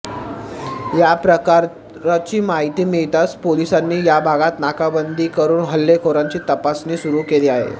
या प्रकाराची माहिती मिळताच पोलिसांनी या भागात नाकाबंदी करून हल्लेखोरांची तपासणी सुरू केली आहे